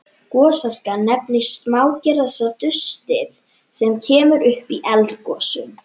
Gosaska nefnist smágerðasta dustið sem kemur upp í eldgosum.